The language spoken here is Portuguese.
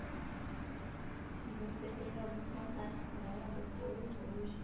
E você teve algum contato com ela depois, hoje?